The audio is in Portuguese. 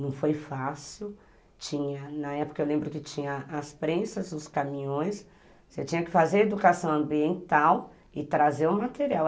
Não foi fácil, na época eu lembro que tinha as prensas, os caminhões, você tinha que fazer educação ambiental e trazer o material.